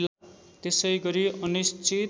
त्यसैगरी अनिश्चित